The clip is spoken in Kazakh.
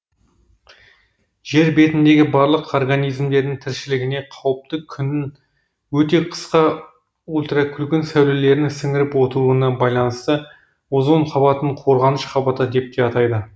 жер бетіндегі барлық организмдердің тіршілігіне қауіпті күннің өте қысқа ультракүлгін сәулелерін сіңіріп отыруына байланысты озон қабатын қорғаныш қабаты деп те атайды